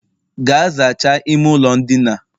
Gaa zachaa ime ụlọ ndina